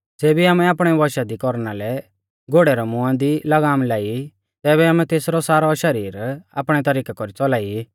ज़ेबी आमै आपणै वशा दी कौरना लै घोड़ै रै मुंआ दी लगाम लाई तैबै आमै तेसरौ सारौ शरीर आपणै तौरीकै कौरी च़ौलाई ई